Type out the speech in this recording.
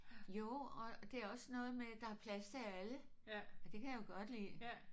Jo og det er også noget med der er plads til alle. Det kan jeg jo godt lide